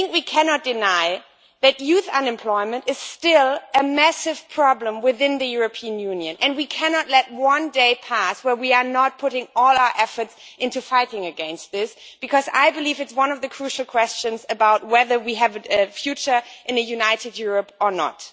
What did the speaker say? But we cannot deny that youth unemployment is still a massive problem within the European Union, and we cannot let one more day pass in which we do not put all our efforts into fighting against this, because it is one of the crucial questions about whether we have a future in a united Europe or not.